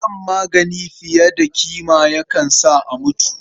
Shan magani fiye da ƙima ma yakan sa a mutu.